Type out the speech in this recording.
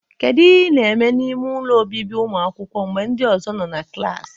Kedu ihe ị na-eme n'ime ụlọ obibi ụmụakwụkwọ mgbe ndị ọzọ nọ na klas?